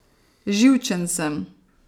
Živčen sem.